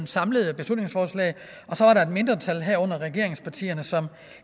samlede beslutningsforslag og så var der et mindretal herunder regeringspartierne som